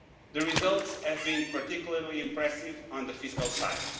The results have been particularly impressive on the fiscal side.